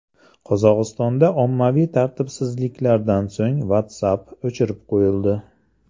Qozog‘istonda ommaviy tartibsizliklardan so‘ng WhatsApp o‘chirib qo‘yildi.